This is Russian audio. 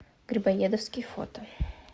грибоедовский фото